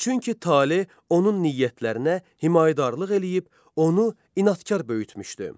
Çünki tale onun niyyətlərinə himayədarlıq eləyib onu inadkar böyütmüşdü.